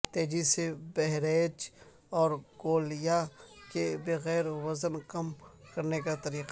تیزی سے پرہیز اور گولیاں کے بغیر وزن کم کرنے کا طریقہ